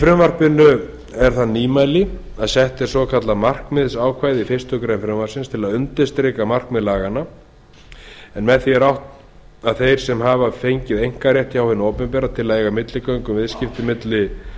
í frumvarpinu er það nýmæli að sett er svokallað markmiðsákvæði í fyrstu grein frumvarpsins til að undirstrika markmið laganna en með því er átt við að þeir sem hafa fengið einkarétt hjá hinu opinbera til að eiga milligöngu um viðskipti milli